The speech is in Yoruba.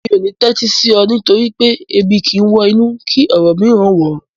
Mi ò ní tẹ́tí sí ọ nítorí pé "Ebi kìí wọ inú kí ọ̀rọ̀ mìíràn wọ̀ ọ́"